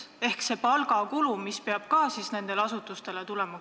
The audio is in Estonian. Ma räägin sellest palgakulust, mis ka nendel asutustel tekib.